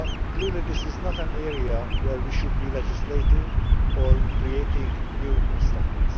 Clearly this is not an area where we should be legislating or creating new instruments.